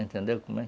Entendeu como é?